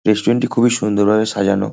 restaurant -টি খুবই সুন্দর ভাবে সাজানো--